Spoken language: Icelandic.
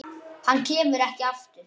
Hann kemur ekki aftur.